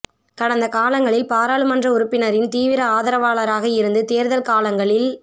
கடந்த காலங்களில் பாராளுன்ற உறுப்பினரின் தீவிர ஆதரவாளராக இருந்து தேர்தல் காலங்களில்